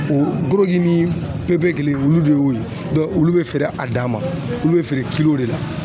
O koroki ni pepekele olu de y'o ye olu be feere a dan ma, olu be feere de la.